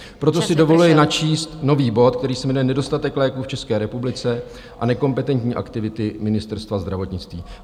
Proto si dovoluji načíst nový bod, který se jmenuje Nedostatek léků v České republice a nekompetentní aktivity Ministerstva zdravotnictví.